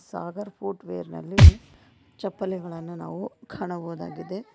Sagar footwear ನಲ್ಲಿ ಚಪ್ಪಲಿಗಳನ್ನು ನಾವು ಕಾಣಬಹುದಾಗಿದೆ.